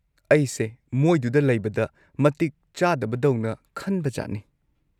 ꯑꯩꯁꯦ ꯃꯣꯏꯗꯨꯗ ꯂꯩꯕꯗ ꯃꯇꯤꯛ ꯆꯥꯗꯕꯗꯧꯅ ꯈꯟꯕꯖꯥꯠꯅꯤ꯫